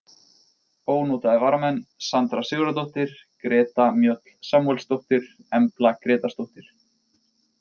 Ónotaðir varamenn: Sandra Sigurðardóttir, Greta Mjöll Samúelsdóttir, Embla Grétarsdóttir,